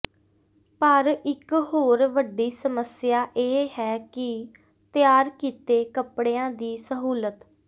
ਪਰ ਇਕ ਹੋਰ ਵੱਡੀ ਸਮੱਸਿਆ ਇਹ ਹੈ ਕਿ ਤਿਆਰ ਕੀਤੇ ਕੱਪੜਿਆਂ ਦੀ ਸਹੂਲਤ